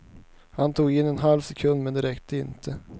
Hon tog in en halv sekund, men det räckte inte.